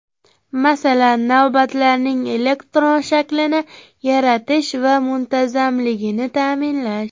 Masalan, navbatlarning elektron shaklini yaratish va muntazamligini ta’minlash.